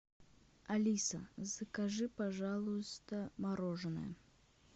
алиса закажи пожалуйста мороженое